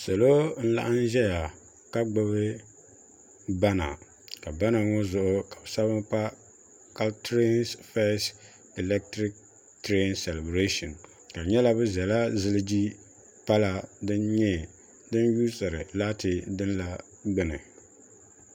salo n laɣam ʒɛya ka gbubi bana ka bana ŋo zuɣu ka bi sabi pa kauntiri fees ilɛktirik tirɛn salibirashin ka di nyɛla bi ʒɛla ziliji pala din yuusiri laati dini la gbuni